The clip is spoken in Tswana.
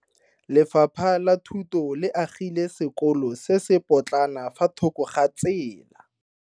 Lefapha la Thuto le agile sekolo se se potlana fa thoko ga tsela.